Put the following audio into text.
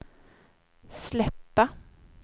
släppa